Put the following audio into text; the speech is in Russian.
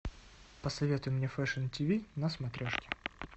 посоветуй мне фэшн тв на смотрешке